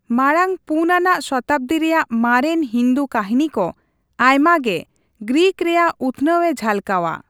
ᱢᱟᱲᱟᱝ ᱔ ᱟᱱᱟᱜ ᱥᱚᱛᱟᱵᱫᱤ ᱨᱮᱭᱟᱜ ᱢᱟᱨᱮᱱ ᱦᱤᱱᱫᱩ ᱠᱟᱹᱦᱤᱱᱤ ᱠᱚ ᱟᱭᱢᱟ ᱜᱮ ᱜᱨᱤᱠ ᱨᱮᱭᱟᱜ ᱩᱛᱷᱱᱟᱹᱣᱮ ᱡᱷᱟᱞᱠᱟᱣᱟ ᱾